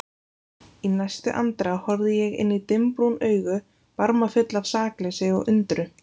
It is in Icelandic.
Í næstu andrá horfði ég inn í dimmbrún augu, barmafull af sakleysi og undrun.